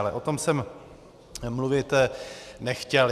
Ale o tom jsem mluvit nechtěl.